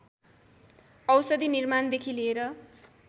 औँषधि निर्माण देखि लिएर